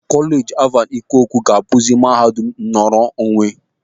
Kolej Alvan Ikoku ga-abuzi mahadum nnọrọ onwe.